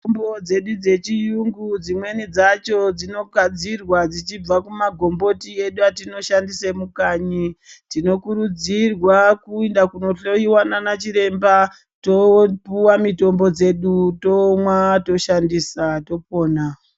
Mitombo dzedu dzechiyungu dzimweni dzacho dzinogadzirwa kubva kumagomboti edu atinoshandisa mukanyi. Tinokuridzirwa kuyenda kundohloyiwa naana chiremba topuwa mitombo dzedu tomwa toshandisa topona.